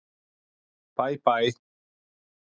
Bæ bæ!